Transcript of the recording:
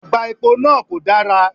Àgbá epo náà kò dara